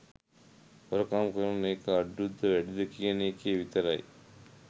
හොරකම් කරන එක අඩුද වැඩිද කියන එකේ විතරයි